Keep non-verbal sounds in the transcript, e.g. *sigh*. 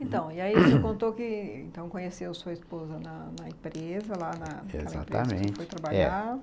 Então, e aí *coughs* você contou que então conheceu sua esposa na na empresa, lá naquela empresa que você foi trabalhar. É.